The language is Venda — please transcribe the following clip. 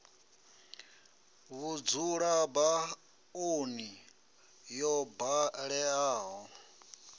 vhudzula ba oni yo baleaho